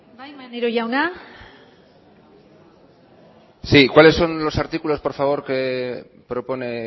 bai maneiro jauna sí cuáles son los artículos por favor que propone